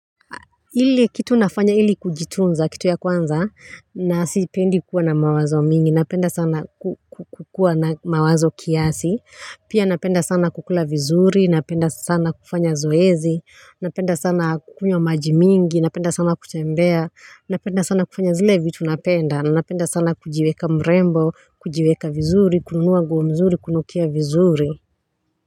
Ile kitu nafanya ili kujitunza kitu ya kwanza na sipendi kuwa na mawazo mingi napenda sana kukua na mawazo kiasi pia napenda sana kukula vizuri napenda sana kufanya zoezi napenda sana kukunywa maji mingi napenda sana kutembea napenda sana kufanya zile vitu napenda napenda sana kujiweka mrembo kujiweka vizuri kununua nguo mzuri kunukia vizuri.